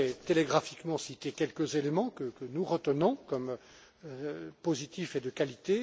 Je voudrais télégraphiquement citer quelques éléments que nous retenons comme positifs et de qualité.